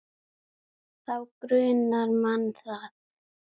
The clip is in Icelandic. Þá grunar mann það.